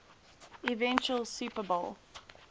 eventual super bowl